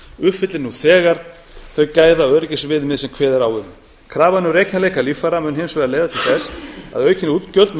uppfylli nú þegar þau gæðaöryggisviðmið sem kveðið er á um krafan um rekjanleika líffæra mun hins vegar leiða til þess að aukin útgjöld munu